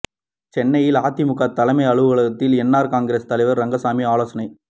சென்னையில் அதிமுக தலைமை அலுவலகத்தில் என் ஆர் காங்கிரஸ் தலைவர் ரங்கசாமி ஆலோசனை